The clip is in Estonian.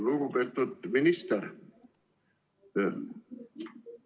Lugupeetud minister!